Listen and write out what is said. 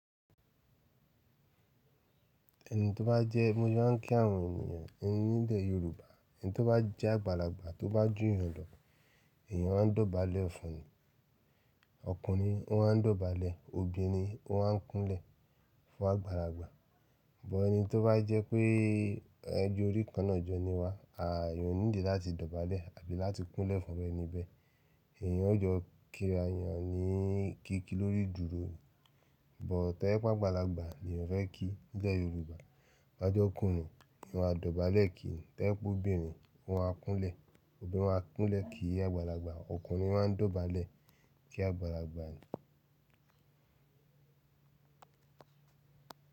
Ẹni tó bá jẹ́ mo jẹ́ máa ń kí àwọn ènìyàn nílé Yorùbá. Ẹni tó bá jẹ́ àgbàlagbà tó bá jù ìyàn lọ, èèyàn máa ń dọ̀bálẹ̀ fún ni. Ọkùnrin, ó máa ń dọ̀bálẹ̀, obìnrin ó máa ń kúnlẹ̀ fún àgbàlagbà. Bọ́ ẹni tó bá jẹ́ pé ẹ jọ́ orí kan náà jọni wá, a kì í nídi láti dọ̀bálẹ̀ àbí láti kúnlẹ̀ fún ọlọ́rẹ̀ẹ́nibẹ̀. Èèyàn ó jọ kí èèyàn ní kíkí lórí ìdúró. Bọ̀ tí ẹ̀ pe àgbàlagbà ni èèyàn fẹ ki Nílé Yorùbá, bá jẹ́ ọkùnrin, ni wàá dọ̀bálẹ̀ kí i. Tí ẹ̀ ba pé obìnrin, wà á kúnlẹ̀. Obìnrin wà á kúnlẹ̀ kí àgbàlagbà, ọkùnrin máa ń dọ̀bálẹ̀ kí àgbàlagbà ni.